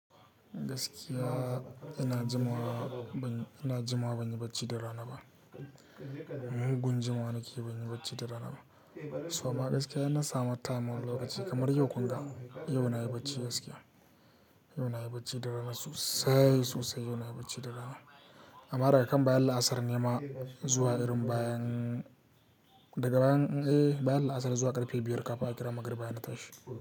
Gaskiya ina jimawa, ina jimawa ban yi bacci da rana ba. Mugun gun jimawa nake yi ban yi bacci da rana ba. To amma gaskiya yana samar tamawul lokaci kamar yau kun ga, yau na yi bacci gaskiya. Yau na yi bacci da rana sosai, sosai yau na yi bacci da rana. Amma daga kan baya La asr nema zuwa irin bayan, daga bayan, eh baya La Asr zuwa ƙarfe biyar ƙafin aka kira magrib bayan na tashi.